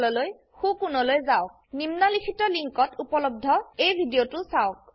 spoken tutorial প্ৰকল্পৰ সম্পৰ্কে অধিক জানিবলৈ লিঙ্কত উপলব্ধ ভিডিওটো চাওক